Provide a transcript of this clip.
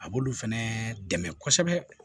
A b'olu fɛnɛ dɛmɛ kosɛbɛ